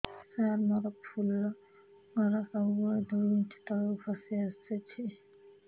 ସାର ମୋର ଫୁଲ ଘର ସବୁ ବେଳେ ଦୁଇ ଇଞ୍ଚ ତଳକୁ ଖସି ଆସିଛି